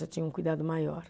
Já tinha um cuidado maior.